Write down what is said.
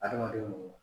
Adamaden